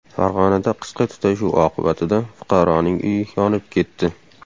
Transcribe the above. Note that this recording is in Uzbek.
Farg‘onada qisqa tutashuv oqibatida fuqaroning uyi yonib ketdi.